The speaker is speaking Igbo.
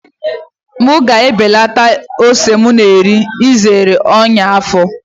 M ga-ebelata ose m na-eri iji zere ọnyá afọ.